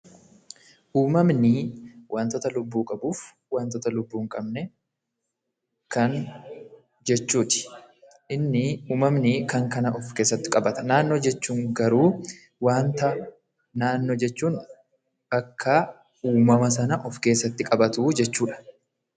Uumamnii wantoota lubbuu qabuuf wantoota lubbuu hin qabne kan jechuuti. Innii uumamnii kan kana of keessatti qabatan. Naannoo jechuun garuu waanta naannoo jechuun akka uumama sana of keessatti qabatuu jechuudha.